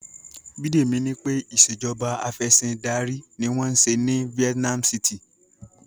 Bidemi ní pé Ìṣèjọba Afẹ̀sìndarí ni wọ́n ń ṣe ní Vietnam city